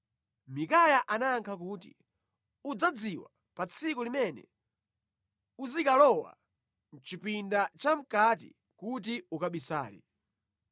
Mikaya anayankha kuti, “Udzadziwa pa tsiku limene uzikalowa mʼchipinda chamʼkati kuti ukabisale.”